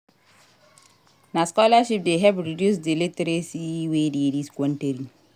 Na scholarship dey help reduce di illiteracy wey dey dis country.